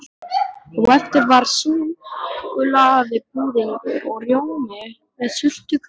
Á eftir var súkkulaðibúðingur og rjómi með sultu- kögglum.